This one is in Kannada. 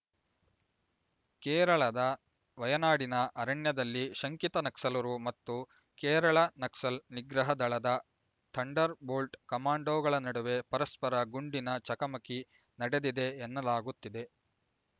ಕೇರಳದ ವಯನಾಡಿನ ಅರಣ್ಯದಲ್ಲಿ ಶಂಕಿತ ನಕ್ಸಲರು ಮತ್ತು ಕೇರಳ ನಕ್ಸಲ್ ನಿಗ್ರಹ ದಳದ ಥಂಡರ್ ಬೋಲ್ಟ್ ಕಮಾಂಡೊಗಳ ನಡುವೆ ಪರಸ್ಪರ ಗುಂಡಿನ ಚಕಮಕಿ ನಡೆದಿದೆ ಎನ್ನಲಾಗುತ್ತಿದೆ